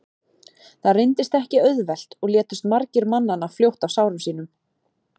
það reyndist ekki auðvelt og létust margir mannanna fljótt af sárum sínum